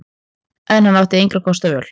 En hann átti engra kosta völ.